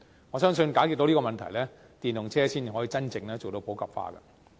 我相信解決這個問題後，電動車才能真正普及化。